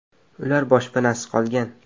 Ular boshpanasiz qolgan.